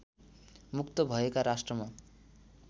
मुक्त भएका राष्ट्रमा